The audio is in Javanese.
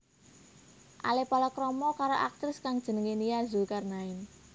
Ale palakrama karo aktris kang jenengé Nia Zulkarnaen